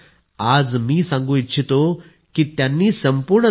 never think that you cannot be good at what you want to be